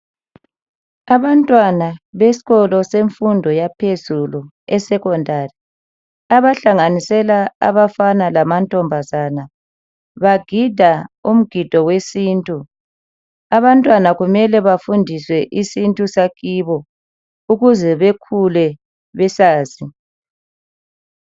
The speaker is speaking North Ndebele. Abantwana besikolo semfundo yaphezulu esekhondari abahlanganisela abafana lamantombazana bagida umgido wesintu,,abantwana kumele bafundiswe isintu sakibo ukuze bekhule besazi.